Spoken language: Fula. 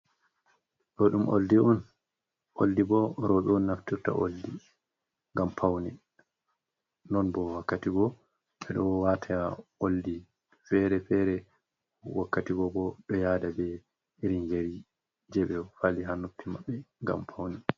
Ɗo ɗum oldi on, oldi bo roɓe un naftorta oldi, gam paune. Non bo wakkatigo ɓe ɗo wata oldi fere-fere, wakkatigo bo ɗo yada be irin yeri je e fali ha noppi maɓɓe ngam paune.